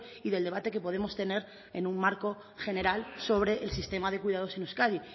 y del debate que podemos tener en un marco general sobre el sistema de cuidados en euskadi